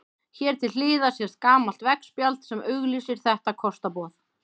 Hér til hliðar sést gamalt veggspjald sem auglýsir þetta kostaboð.